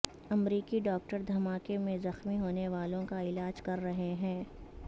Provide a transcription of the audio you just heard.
امریکی ڈاکٹر دھماکے میں زخمی ہونے والوں کا علاج کر رہے ہیں